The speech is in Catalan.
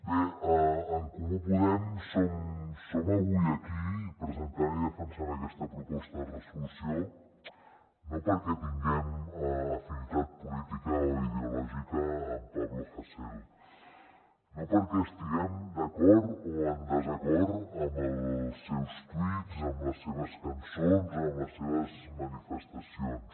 bé en comú podem som avui aquí presentant i defensant aquesta proposta de resolució no perquè tinguem afinitat política o ideològica amb pablo hasél no perquè estiguem d’acord o en desacord amb els seus tuits amb les seves cançons amb les seves manifestacions